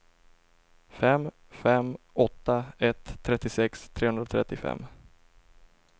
fem fem åtta ett trettiosex trehundratrettiofem